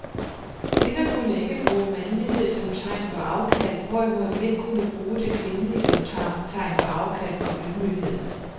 Kvinder kunne ikke bruge mandlighed som tegn på afkald, hvorimod mænd kunne bruge det kvindelige som tegn på afkald og ydmyghed.